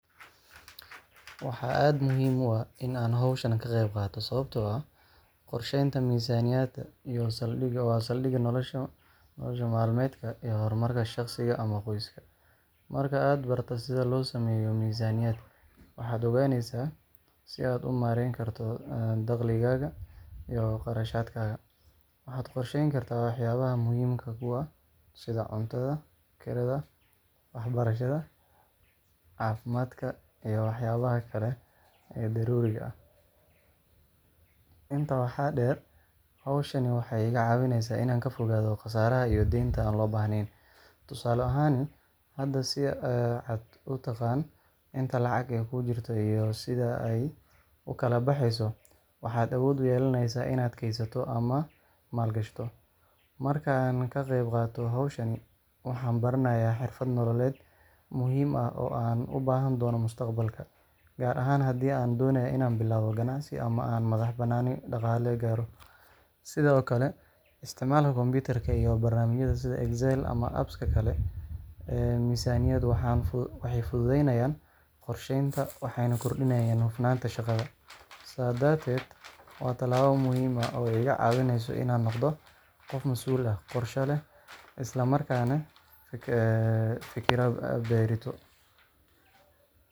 Waxaa aad muhiim u ah in aan hawshan ka qeyb qaato sababtoo ah qorsheynta miisaaniyadda waa saldhigga nolosha maalmeedka iyo horumarka shaqsiga ama qoyska. Marka aad barato sida loo sameeyo miisaaniyad, waxaad ogaanaysaa sida aad u maareyn karto dakhligaaga iyo kharashaadkaaga. Waxaad qorsheyn kartaa waxyaabaha muhiimka kuu ah, sida cuntada, kirada, waxbarashada, caafimaadka, iyo waxyaabaha kale ee daruuriga ah. Intaa waxaa dheer, hawshan waxay iga caawinaysaa inaan ka fogaado khasaaraha iyo deynta aan loo baahnayn. Tusaale ahaan, haddii aad si cad u taqaan inta lacag ah ee kuu jirta iyo sida ay u kala baxeyso, waxaad awood u yeelanaysaa inaad kaydsato ama maal gashato. Marka aan ka qeyb qaato hawshan, waxaan baranayaa xirfad nololeed muhiim ah oo aan u baahan doono mustaqbalka, gaar ahaan haddii aan doonayo inaan bilaabo ganacsi ama aan madax-bannaani dhaqaale gaaro. Sidoo kale, isticmaalka kombiyuutarka iyo barnaamijyada sida Excel ama apps ka kale ee miisaaniyadda waxay fududeynayaan qorsheynta, waxayna kordhiyaan hufnaanta shaqada. Sidaa darteed, waa tallaabo muhiim ah oo iga caawinaysa inaan noqdo qof mas’uul ah, qorshe leh, isla markaana ka fikira berrito.